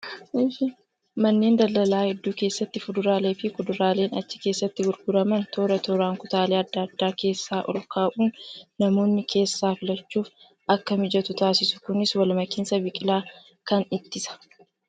Manneen daldalaa hedduu keessatti fuduraalee fi kuduraaleen achi keessatti gurguraman toora tooraan kutaalee adda addaa keessa ol kaa'uun namoonni keessaa filachuuf akka mijatu taasisu. Kunis wal makinsa biqilaa kanaa ittisa.